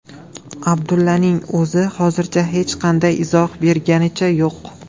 Abdullaning o‘zi hozircha hech qanday izoh berganicha yo‘q.